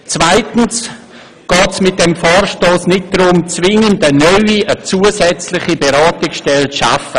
Zweitens geht es bei diesem Vorstoss nicht darum, zwingend eine zusätzliche Beratungsstelle zu schaffen.